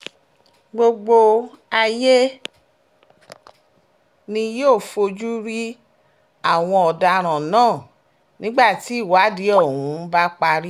gbogbo ayé ni yóò fojú rí àwọn ọ̀daràn náà nígbà tí ìwádìí ọ̀hún bá parí